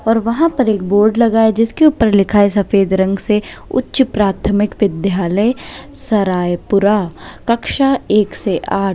और वहां पर एक बोर्ड लगा है जिसके ऊपर लिखा है सफेद रंग से उच्च प्राथमिक विद्यालय सरायपुरा कक्षा एक से आठ।